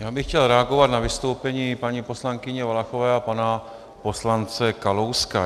Já bych chtěl reagovat na vystoupení paní poslankyně Valachové a pana poslance Kalouska.